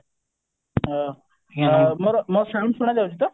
ଅ ମୋର ମୋ sound ଶୁଣା ଯାଉଛି ତ